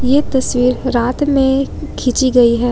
ये तस्वीर रात में खींची गई है।